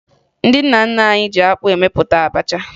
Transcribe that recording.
Ndị nna nna anyị ji akpụ mepụta abacha